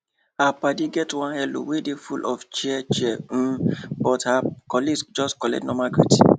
her paddy get one hello wey dey full of cheer of cheer um but her colleague just collect normal greeting